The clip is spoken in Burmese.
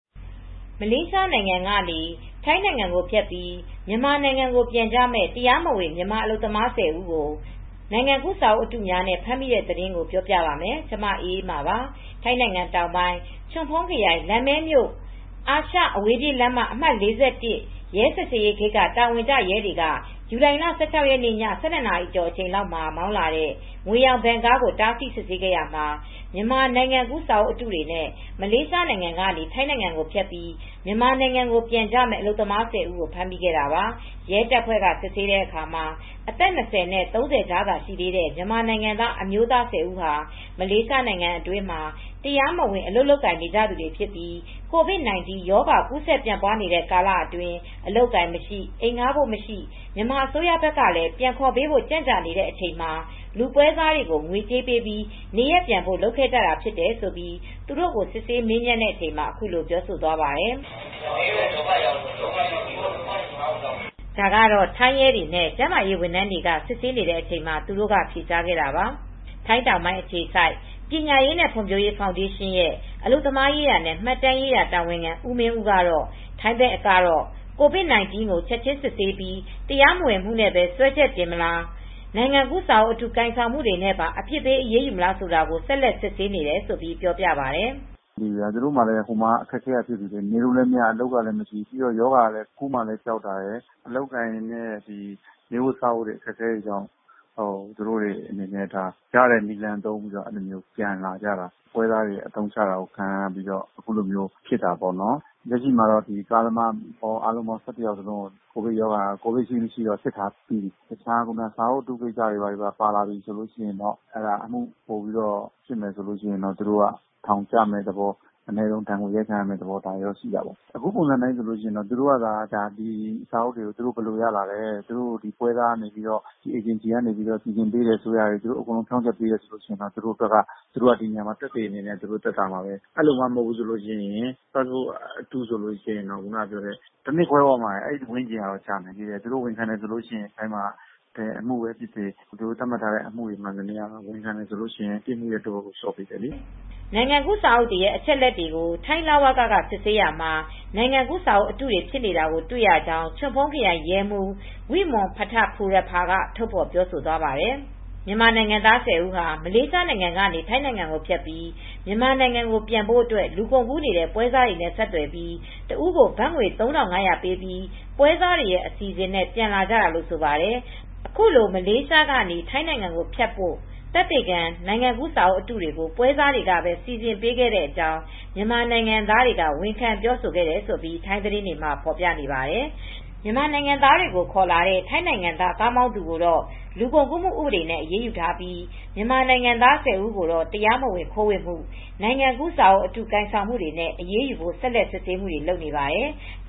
မလေးရှားနိုင်ငံကနေ ထိုင်းနိုင်ငံကိုဖြတ်ပြီးမြန်မာနိုင်ငံကိုပြန်ကြမယ့် တရားမဝင် မြန်မာအလုပ်သမား ၁၀ ဦး ကို နိုင်ငံကူးစာအုပ်အတုများနဲ့ဖမ်းမိတဲ့သတင်းကို တင်ပြပါမယ်။ VOA မြန်မာပိုင်းသတင်းထောက် မအေးအေးမာ က ထိုင်းမြန်မာနယ်စပ်ကနေ သတင်းပေးပို့ ထားပါတယ်။ ထိုင်းနိုင်ငံတောင်ပိုင်း ချွန်ဖုန်းခရိုင် လမ်မဲမြို့အာရှ အဝေးပြေးလမ်းမ အမှတ် ၄၁ ရဲစစ်ဆေးရေးဂိတ်က တာဝန်ကျရဲတွေက ဇူလိုင်လ ၁၆ ရက်နေ့ ည ၁၂ နာရီအချိန်လောက်မှာမောင်းလာတဲ့ ငွေရောင် ဗင်ကား ကို တားဆီး စစ်ဆေးခဲ့ရာမှာ မြန်မာနိုင်ငံကူးစာအုပ်အတုတွေနဲ့ မလေးရှားနိုင်ငံကနေ ထိုင်းကို ဖြတ်ပြီး မြန်မာနိုင်ငံကိုပြန်ကြမယ့် အလုပ်သမား ၁၀ဦးကို ဖမ်းမိခဲ့တာပါ။ ရဲတပ်ဖွဲ့က စစ်ဆေးတဲ့အခါမှာ အသက် ၂၀ နဲ့ ၃၀ အကြားသာရှိတဲ့ မြန်မာနိုင်ငံသား အမျိုးသား၁၀ ဦးဟာ မလေးရှားနိုင်ငံအတွင်းမှာ တရားမဝင် အလုပ်လုပ်နေကြသူတွေဖြစ်ပြီး ကိုဗစ်-၁၉ ရောဂါကူးဆက်ပြန့်ပွားနေတဲ့ ကာလ အတွင်း အလုပ်အကိုင်မရှိ အိမ်ဌားဖို့မရှိ မြန်မာအစိုးရဘက်ကလည်း ပြန်ခေါ်ပေးဖို့ ကြန့်ကြာနေတဲ့အချိန်မှာ ပွဲစားတွေကို ငွေကြေးပေးပြီးနေရပ်ပြန်ဖို့ လုပ်ခဲ့ကြတာဖြစ်တယ်လို့ သူတို့ကိုစစ်ဆေးမေးမြန်းချိန်မှာ အခုလိုပြောသွားပါတယ်။ “မလေးမှာ ဒုက္ခရောက်နေလို့ပါ။ အလုပ်မရှိ နေစရာမရှိကြလို့ပါ။” ဒါကတော့ ထိုင်းရဲတွေနဲ့ ကျန်းမာရေးဝန်ထမ်းတွေက စစ်ဆေးတဲ့အချိန်မှာသူတို့ က ဖြေကြားခဲ့တာပါ။ ထိုင်းတောင်ပိုင်းအခြေစိုက်ပညာရေးနဲ့ ဖွံဖြိုးရေးဖောင်ဒေးရှင်း ရဲ့ အလုပ်သမားရေးရာနဲ့ မှတ်တမ်းရေးရာတာဝန်ခံ ဦးမင်းဦးကတော့ ထိုင်းဘက်ကတော့ ကိုဗစ် ၁၉ကို ချက်ချင်းစစ်ပြီး တရားမဝင်မူနဲ့ပဲ စွဲချက်တင်မလား၊ နိုင်ငံကူးစာအုပ်အတု ကိုင်ဆောင်မူတွေနဲ့ပါ အပြစ်ပေး အရေးယူမလားဆိုတာကို ဆက်လက်စစ်ဆေးနေတယ်လို့ ပြောပြပါတယ်။ “သူတို့မှာက ဟိုမှာက အလုပ်အကိုင်ကလည်းမရှိ နေဖို့စားဖို့လည်းမရှိ ရောဂါကလည်း ကူးမှာကြောက်တာရတယ်။ အလုပ်အကိုင်နဲ့ နေဖို့စားဖို့ခက်လို့ ရရာကိုသုံးပြီးပြန်လာကြတာ။ ပွဲစားတွေ အသုံးချတာခံရပြီးတော့ အခုလိုဖြစ်တာပေါ့နော်။ လက်ရှိမှာသူတို့ကိုရော ကားသမားကိုရော ၁၁ယောက်လုံးကိုတော့ စစ်ထားပြီးပြီ။ တရားမဝင်အမူတခုတည်း စာအုပ်အတုကိစ္စတွေပါလာရင်တော့ သူတို့ ထောင်ကျမယ့်သဘော၊ အနည်းဆုံးဒဏ်ငွေရိုက်ခံရမယ့် သဘောရှိတယ် အဲဒီ စာအုပ်တွေကို ဘယ်လိုရလာသလဲ၊ ပွဲစားအေဂျင်စီက လုပ်ပေးတာဆိုရင်တော့ သူတို့ ဖြောင့်ချက်ပေးရင်တော့ သက်သေအနေနဲ့ သက်သာမယ်။ အဲလိုမှ မဟုတ်ဘူးဆိုရင် ပတ်စပို့ အတုဆိုရင်တော့ တနှစ်ခွဲလောက် ကျခံရနိုင်တယ်။ သူတို့ ဝန်ခံမယ်ဆိုရင်တော့လည်း ထိုင်းမှာဆိုရင်ပြစ်ဒဏ် တဝက်ကို လျော့ပေးတာတွေ ရှိတယ်။” နိုင်ငံကူးစာအုပ်တွေရဲ့ အချက်အလက်တွေကို ထိုင်းလဝက က စစ်ဆေးရာမှာ နိုင်ငံကူး စာအုပ် အတုတွေ ဖြစ်နေတာ တွေ့ရကြောင်း ချွန်ဖုန်းခရိုင် ရဲမှူး Pol Maj-General Wimon Phitakburapha က ထုတ်ဖေါ်ပြောဆိုခဲ့ပါတယ်။ မြန်မာနိုင်ငံသား ၁၀ ဦးဟာ မလေးရှားနိုင်ငံကနေ ထိုင်းကို ဖြတ်ပြီးမြန်မာနိုင်ငံကိုပြန်ဖို့ အတွက် လူကုန်ကူးနေတဲ့ ပွဲစားတွေနဲ့ ဆက်သွယ်ပြီး တစ်ဦးကို ဘတ်ငွေ ၃၅၀၀ ပေးပြီး ပွဲစားတွေရဲ့ အစီအစဉ်နဲ့ ပြန်လာကြတာလို့ဆိုပါတယ်။ အခုလို မလေးရှားကနေ ထိုင်းနိုင်ငံကို ဖြတ်ဖို့ သက်သေခံ နိုင်ငံကူး စာအုပ်အတုတွေကို ပွဲစားတွေကပဲ စီစဉ်ပေးခဲ့တဲ့အကြောင်း မြန်မာနိုင်ငံသားတွေက ဝန်ခံပြောခဲ့တယ်လို့ ထိုင်းသတင်းတွေမှာလည်း ဖောြ်ပနေပါတယ်။ မြန်မာနိုင်ငံသားတွေကိုခေါ်လာတဲ့ ထိုင်းနိုင်ငံသား ကားမောင်းသူကိုတော့ လူကုန်ကူးမှု ဥပဒေနဲ့ အရေးယူထားပြီး မြန်မာနိုင်ငံသား ဦးကိုတော့တရားမဝင်ခိုးဝင်မူ၊ နိုင်ငံကူးစာအုပ်အတု ကိုင်ဆောင်မှုတွေနဲ့ အရေးယူဖို့ ဆက်လက်စစ်ဆေးမူတွေ လုပ်နေပါတယ်။